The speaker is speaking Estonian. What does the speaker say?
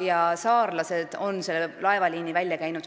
Ja saarlased on selle laevaliini välja käinud